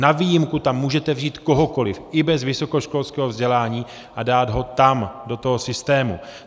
Na výjimku tam můžete vzít kohokoliv i bez vysokoškolského vzdělání a dát ho tam do toho systému.